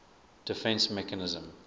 defence mechanism